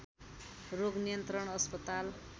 रोग नियन्त्रण अस्पताल